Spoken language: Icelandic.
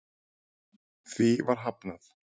Því var hafnað